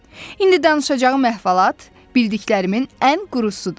İndi danışacağım əhvalat bildiklərimin ən qurusudur.